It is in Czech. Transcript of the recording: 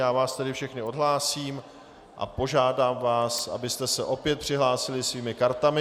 Já vás tedy všechny odhlásím a požádám vás, abyste se opět přihlásili svými kartami.